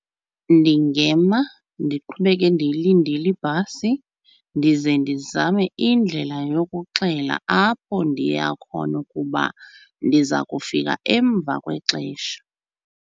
Ndingema ndiqhubeke ndilindile ibhasi ndize ndizame indlela yokuxelela apho ndiya khona ukuba ndiza kufika emva kwexesha.